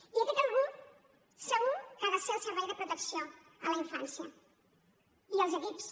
i aquest algú segur que han de ser el servei de protecció a la infància i els equips